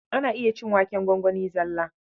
Ana iya cin waken gwangwani zalla.